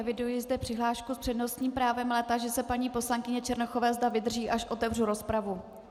Eviduji zde přihlášku s přednostním právem, ale táži se paní poslankyně Černochové, zda vydrží, až otevřu rozpravu.